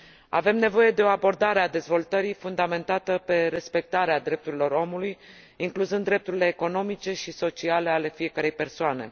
Avem nevoie de o abordare a dezvoltării fundamentată pe respectarea drepturilor omului, incluzând drepturile economice și sociale ale fiecărei persoane.